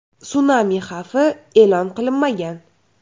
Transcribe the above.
Sunami xavfi e’lon qilinmagan.